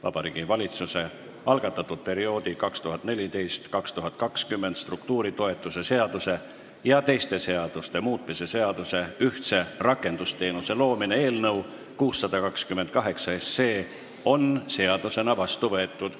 Vabariigi Valitsuse algatatud perioodi 2014–2020 struktuuritoetuse seaduse ja teiste seaduste muutmise seaduse eelnõu 628 on seadusena vastu võetud.